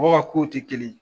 Mɔgɔ ka kow tɛ kelen